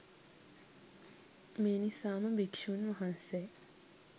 මේ නිසාම භික්ෂූන් වහන්සේ